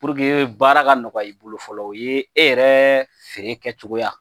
baara ka nɔgɔya i bolo fɔlɔ o ye yɛrɛ feere kɛcogoya